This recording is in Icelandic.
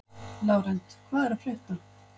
Lárent, hvað er að frétta?